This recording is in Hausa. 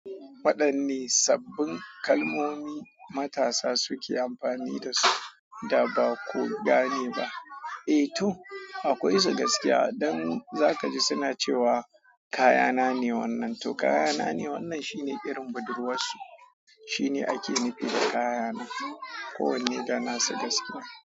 Waɗanne sabbin kalmomi matasa suke amfani da su da ba ku gane ba? Eh to, akwai su gaskiya. Dan za ka ji suna cewa kayana ne wannan. To kayana ne wannan shine irin budurwarsu. Shine ake nufi da kayana, kowanne da nasa gaskiya.